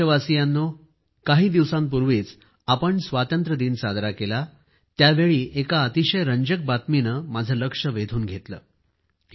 प्रिय देशवासियांनो काही दिवसांपूर्वीच आपण स्वातंत्र्यदिन साजरा केला त्यावेळी एका अतिशय रंजक बातमीने माझं लक्ष वेधून घेतलं